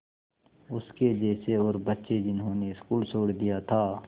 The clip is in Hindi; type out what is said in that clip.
उसके जैसे और बच्चे जिन्होंने स्कूल छोड़ दिया था